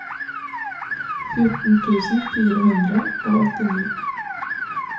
fjorten tusen fire hundre og åttini